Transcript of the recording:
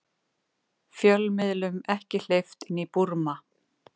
Fjölmiðlum ekki hleypt inn í Búrma